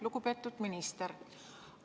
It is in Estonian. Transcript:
Lugupeetud minister!